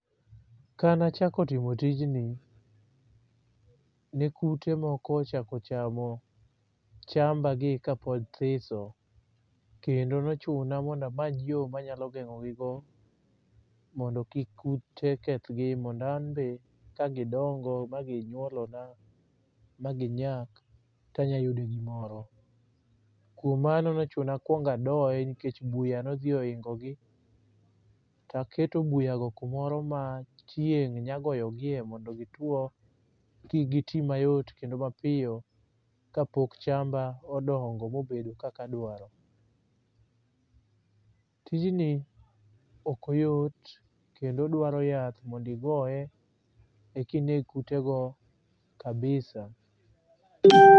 Kanachako timo tijni ne kute moko ochako chamo chamba gi kapod thiso, kendo nochuna mondamany yo manyalo geng'ogigo mondo kik kute kethgi. Mondo anbe ka gidongo ma ginyuolona ma ginyak, tanyayude gimoro. Kuom mano nochuna akwonga doye nikech buya nodhi oingo gi, taketo buyago kumoro ma chieng' nyagoyogie mondo gituo kik giti mayot kendo mapiyo kapok chamba odongo mobedo kakadwaro. Tijni okoyot kendo dwaro yath mondigoye eki neg kutego kabisa.